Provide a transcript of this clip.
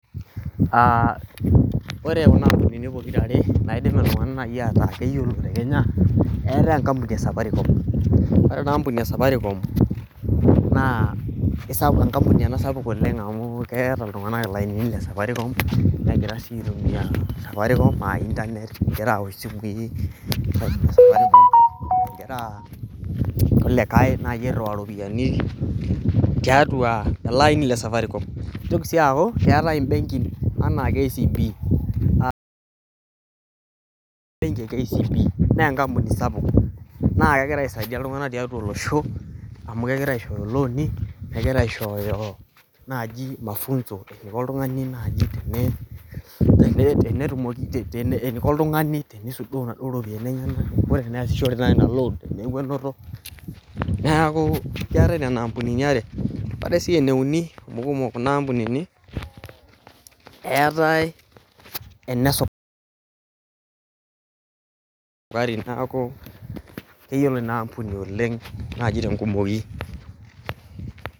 Ore kuna kampunini pokirare naidim iltunganak najii ataa keyiolo te Kenya eetae enkampuni ee safaricom ore enaampuni ee safaricom naa keisapuk enkampuni ena sapuk oleng' amu keeta iltung'anak ilainini le safaricom negira sii aitumia safaricom aa internet egira awosh isimui egira irkulikae airiwaa iropiyiani tiatua ele aini le safaricom eitoki sii aaku keetae inbenkin ena KCB naa enkampuni sapuk naa kegira aisaidia iltunganak tiatua olosho amu kegira aishoyoo ilooni egira aishoyo naji oltungani naaji teneiko oltungani teneisudoo naduo ropiyiani enyenak neyasishore taa ina loan peeku enoto neeku keetae nena ampunini aree neetae sii ene uni kumok kuna ampunini eetae enesopari neeaku keyioloi Ina ampuni oleng' najii tenkumoyi.